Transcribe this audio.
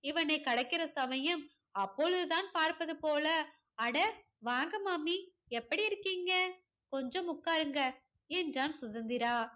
இவனை கடக்கிற சமயம் அப்பொழுது தான் பார்ப்பது போல அட, வாங்க மாமி. எப்படி இருக்கீங்க? கொஞ்சம் உக்காருங்க என்றான் சுதந்திரா.